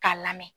K'a lamɛn